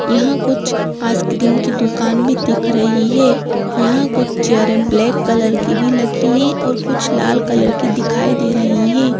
यहां कुछ आइसक्रीम की दुकान भी दिख रही है यहां कुछ चेयरें ब्लैक कलर की भी लगी है और कुछ लाल कलर की दिखाई दे रही हैं।